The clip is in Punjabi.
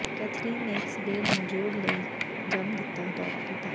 ਕੈਥਰੀਨ ਨੇ ਇਕ ਸਵੇਰ ਨੂੰ ਜੋਗ ਲਈ ਜਿੰਮ ਦਾ ਦੌਰਾ ਕੀਤਾ